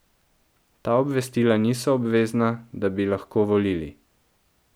Ta obvestila niso obvezna, da bi lahko volili.